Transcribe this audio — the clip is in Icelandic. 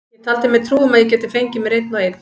Ég taldi mér trú um að ég gæti fengið mér einn og einn.